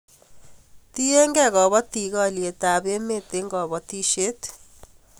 Tiegei kapatik haliyet ab emet eng' kabatishet